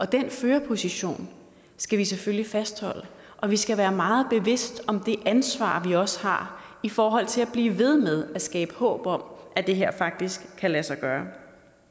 den førerposition skal vi selvfølgelig fastholde og vi skal være meget bevidste om det ansvar vi også har i forhold til at blive ved med at skabe håb om at det her faktisk kan lade sig gøre